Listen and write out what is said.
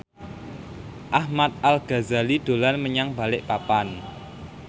Ahmad Al Ghazali dolan menyang Balikpapan